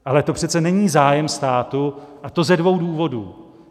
Ale to přece není zájem státu, a to ze dvou důvodů.